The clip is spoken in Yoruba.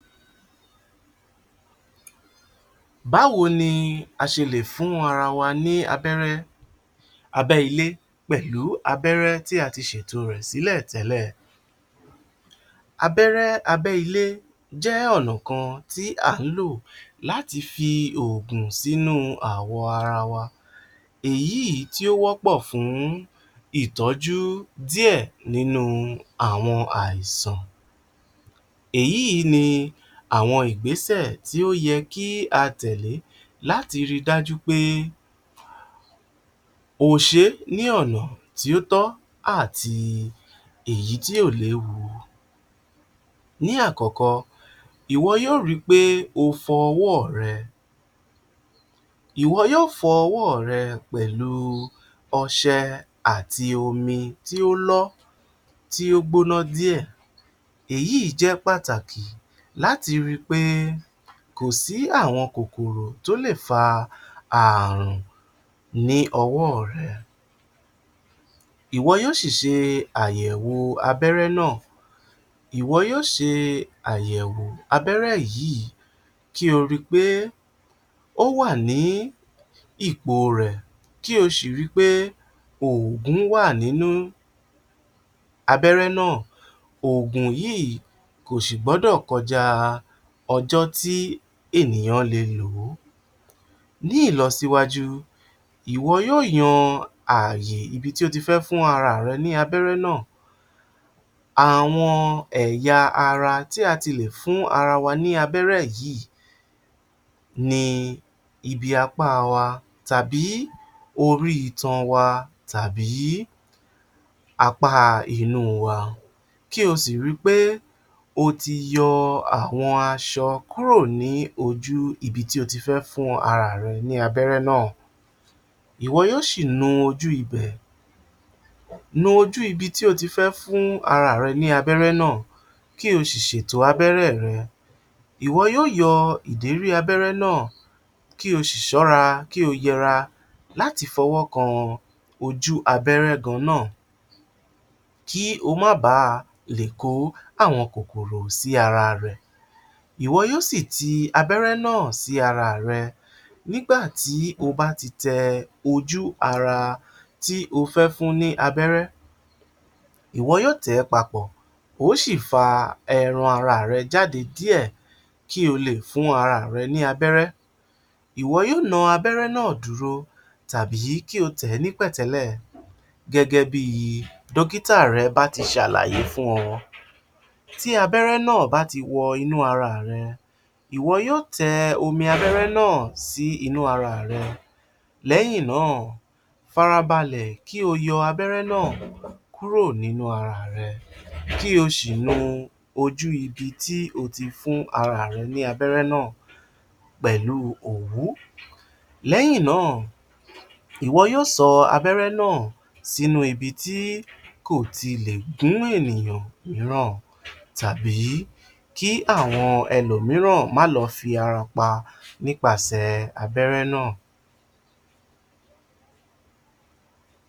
Báwo ni a ṣe lè fún ara wa ní abẹ́rẹ́ abẹ́ ilé pẹ̀lú abẹ́rẹ́ tí a ti ṣètò rẹ̀ sílẹ̀ tẹ́lẹ̀? Abẹ́rẹ́ abẹ́ ilé jẹ́ ọ̀nà kan tí à ń lò láti fi oògùn sí àgọ́ ara wa èyí tí ó wọ́pọ̀ fún ìtọ́jú díẹ̀ nínú àwọn àìsàn, èyí ni ìgbésẹ̀ tí ó yẹ fún a tẹ̀lẹ́ láti ri dájú wí pé o ṣé ní ọ̀nà tí ó tọ́ àti èyí tí ò léwu. Ní àkọ́kọ́, ìwọ yóò ri pé o fọ ọwọ́ rẹ, ìwọ yóò fọ ọwọ́ rẹ pẹ̀lú ọṣẹ àti omi tí ó lọ́ tí ó gbóná díẹ̀, èyí jẹ́ pàtàkì láti ri pé kò sí àwọn kòkòrò tó lè fa ààrùn ní ọwọ́ rẹ, ìwọ yóò ṣì ṣe àyẹ̀wò abẹ́rẹ́ náà, ìwọ yóò ṣe àyẹ̀wò abẹ́rẹ́ yíì ko ri pé ó wà ní ipò rẹ̀ kí o sì ri pé oògùn wá à nínú abẹ́rẹ́ náà, oògùn yìí kò sì gbọ́dọ̀ kọjá ọjọ́ tí ènìyàn le lò ó. Ní ìlọsíwájú, ìwọ yóò yan ààyè ibi tí o ti fẹ́ fún ara rẹ ní abẹ́rẹ́ náà, àwọn ẹ̀yà tí a ti lè fún ara wa ní abẹ́rẹ́ yìí ni ibi apá wa tàbí orí itan wa tàbí apá inú wa kí o sì ri pé o ti yọ àwọn aṣọ kúrò ní ojú ibi tí o ti fẹ́ fún ara rẹ ní abẹ́rẹ́ náà, ìwọ yóò ṣì nu ojú ibẹ̀, nu ojú ibi tí o ti fẹ́ fún ara rẹ ní abẹ́rẹ́ náà kí o ṣì ṣètò abẹ́rẹ́ rẹ, ìwọ yóò ṣì ìdérí abẹ́rẹ́ náà kí o sì ṣọ́ra kí o yẹra láti fọwọ́ kan ojú abẹ́rẹ́ gan-an náà kí o má ba lè kó àwọn kòkòrò sí ara rẹ, ìwọ yóò ṣì ti abẹ́rẹ́ náà sí ara rẹ, nígbà tí o bá ti tẹ ojú ara tí o fẹ́ fún ní abẹ́rẹ́, ìwọ yóò tẹ̀ ẹ́ papọ̀ o ó sì fa ẹran ara rẹ jáde díẹ̀ kí o lè fún ara rẹ̀ ní abẹ́rẹ́, ìwọ yóò na abẹ́rẹ́ náà dúró tàbí kí o tẹ̀ ẹ́ ní pẹ̀tẹ́lẹ̀ gẹ́gẹ́ bí dókítà rẹ bá ṣe ṣàlàyé fún ọ, tí abẹ́rẹ́ náà bá ti wọnú ara rẹ, ìwọ yóò tẹ omi abẹ́rẹ́ náà sí inú ara rẹ, lẹ́yìn náà fara balẹ̀ kí o yọ abẹ́rẹ́ náà kúrò nínú ara rẹ kí o sì nu ojú ibi tí o ti fún ara rẹ ní abẹ́rẹ́ náà pẹ̀lú òwú, lẹ́yìn náà ìwọ yóò sọ abẹ́rẹ́ náà sínú ibi tí kò ti lè gún ènìyàn mìíràn tàbí kí àwọn ẹlòmíràn má lo fi ara pa nípasẹ̀ abẹ́rẹ́ náà.